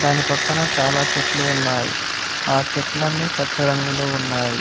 దాని పక్కన చాలా చెట్లు ఉన్నాయి ఆ చెట్లన్ని పచ్చ రంగులో ఉన్నాయి.